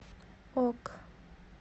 ок